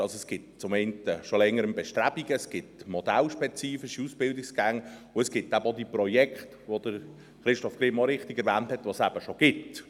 Es gibt zum einen bereits seit Längerem Bestrebungen, es gibt modellspezifische Ausbildungsgänge, und es gibt auch schon diese Projekte, welche Christoph Grimm richtigerweise erwähnt hat.